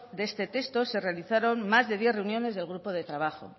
de este texto se realizaron más de diez reuniones del grupo de trabajo